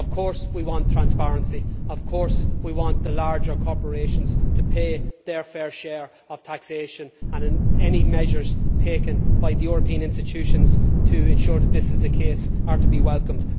Of course we want transparency and of course we want the larger corporations to pay their fair share of taxation, and any measures taken by the European institutions to ensure that this is the case are to be welcomed.